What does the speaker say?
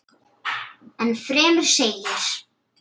Enn fremur segir